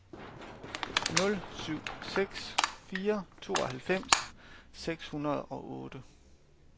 nul syv seks fire tooghalvfems seks hundrede og otte